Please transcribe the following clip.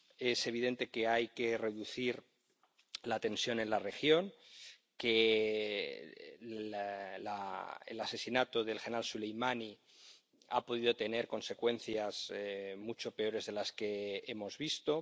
Es evidente que hay que reducir la tensión en la región, que el asesinato del general Soleimani ha podido tener consecuencias mucho peores de las que hemos visto.